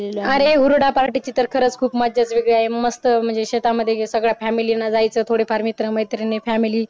अरे हुरडा पार्टीची तर खरंच मस्त म्हणजे सांगड्या फॅमिली ने जायचं थोडे फार मित्र फॅमिली